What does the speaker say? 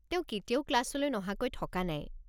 তেওঁ কেতিয়াও ক্লাছলৈ নহাকৈ থকা নাই।